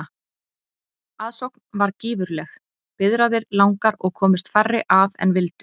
Aðsókn varð gífurleg, biðraðir langar og komust færri að en vildu.